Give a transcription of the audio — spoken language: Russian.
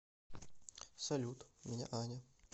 салют меня аня